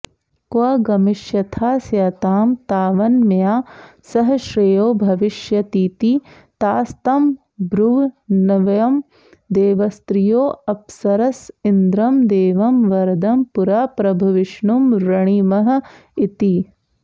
क्व गमिष्यथास्यतां तावन्मया सह श्रेयो भविष्यतीति तास्तमब्रुवन्वयं देवस्त्रियोऽप्सरस इन्द्रं देवं वरदं पुरा प्रभविष्णुं वृणीमह इति